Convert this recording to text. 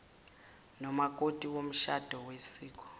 nomakoti womshado wosiko